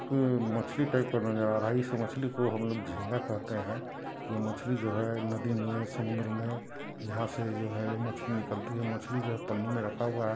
मछली टाइप ला लग रहा हैं| इस मछली को हम जिन्दा खाते हैं| यह मछली जो हैं वह नदी मैं समुन्दर मैं यहाँ से जो हैं मछली निकलती हैं| मछली को पानी में रखा हआ हैं।